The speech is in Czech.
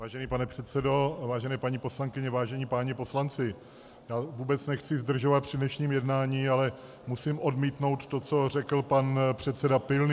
Vážený pane předsedo, vážené paní poslankyně, vážení páni poslanci, já vůbec nechci zdržovat při dnešním jednání, ale musím odmítnout to, co řekl pan předseda Pilný.